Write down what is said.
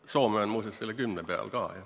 Ka Soome on muuseas selle 10% peal.